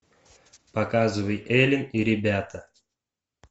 показывай элен и ребята